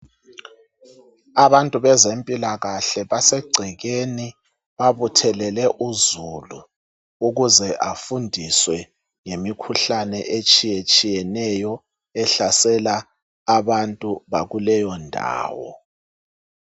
Abantu bezempilakahle basegcekeni babuthelele uzulu ukuze afundiswe ngemikhuhlane etshiyeneyo ehlasela abantu bakuleyo ndawo.